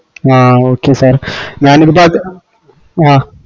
ആഹ് okay sir ഞാനിപ്പത് അഹ്